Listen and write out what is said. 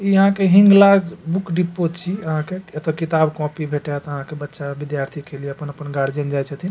ई आहां के Hinglaj book depot छी आहां के एता किताब कॉपी भेटात आहां के बच्चा विद्यार्थी के लिए अपन-अपन गार्जियन जाय छथिन।